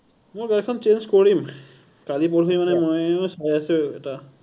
মোৰ গাড়ীখন change কৰিম। কালি পৰহি মানে মই চাই আছো এটা,